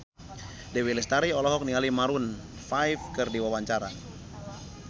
Dewi Lestari olohok ningali Maroon 5 keur diwawancara